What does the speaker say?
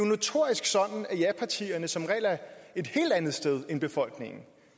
notorisk sådan at japartierne som regel er et helt andet sted end befolkningen